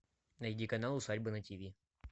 найди канал усадьба на ти ви